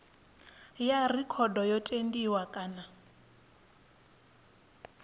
ya rekhodo yo tendiwa kana